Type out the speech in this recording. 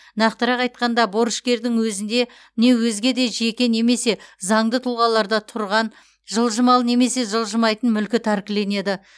нақтырақ айтқанда борышкердің өзінде не өзге де жеке немесе заңды тұлғаларда тұрған жылжымалы немесе жылжымайтын мүлкі тәркіленеді